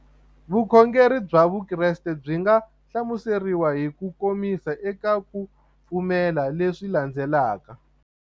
Vukhongeri bya Vukreste byi nga hlamuseriwa hi kukomisa eka ku pfumela leswi landzelaka.